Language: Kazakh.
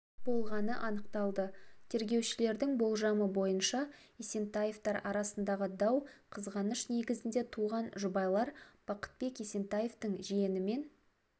болғаны анықталды тергеушілердің болжамы бойынша есентаевтар арасындағы дау қызғаныш негізінде туған жұбайлар бақытбек есентаевтың жиенімен